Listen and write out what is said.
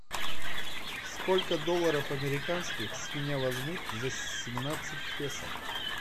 сколько долларов американских с меня возьмут за семнадцать песо